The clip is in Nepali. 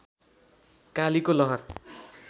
कालीको लहर